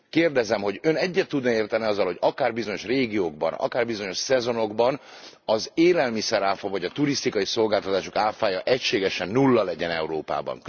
Kérdezem, hogy, Ön egyet tudna e érteni azzal, hogy akár bizonyos régiókban, akár bizonyos szezonokban az élelmiszer áfa vagy a turisztikai szolgáltatások áfája egységesen nulla legyen Európában.